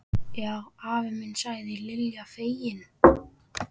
Já afi minn sagði Lilla fegin.